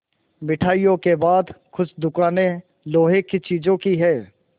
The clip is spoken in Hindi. मिठाइयों के बाद कुछ दुकानें लोहे की चीज़ों की हैं